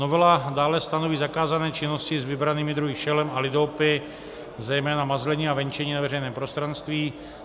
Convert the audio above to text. Novela dále stanoví zakázané činnosti s vybranými druhy šelem a lidoopy, zejména mazlení a venčení na veřejném prostranství.